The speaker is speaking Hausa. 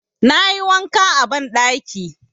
Na yi wanka a banɗaki.